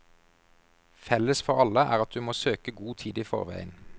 Felles for alle er at du må søke god tid i forveien.